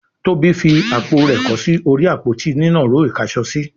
Tóbi fí àpò rẹ kọ sí orí Àpótí nínàró ìkáṣọsí